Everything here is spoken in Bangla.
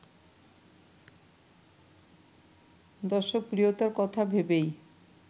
দর্শকপ্রিয়তার কথা ভেবেই